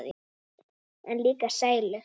En líka sælu.